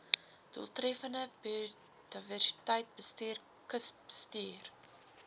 doeltreffende biodiversiteitsbestuur kusbestuur